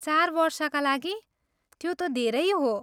चार वर्षका लागि, त्यो त धेरै हो।